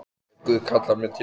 Ef Guð kallar mig til sín.